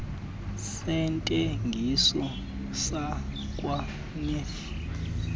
sentengiso sakwa nef